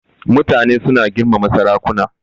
Mutane suna girmama sarakuna.